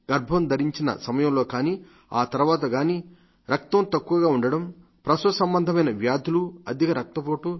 గర్భం ధరించిన సమయంలో కానీ ఆ తర్వాత గానీ రక్తం తక్కుగా ఉండటం ప్రసవ సంబంధమైన వ్యాధులు అధిక రక్తపోటు